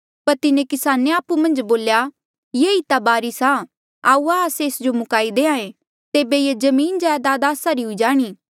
पर तिन्हें किसाने आपु मन्झ बोल्या ये ई ता वारीस आ आऊआ एस जो मुकाई देहां ऐें तेबे ये जमीनजायदाद आस्सा री हुई जाणी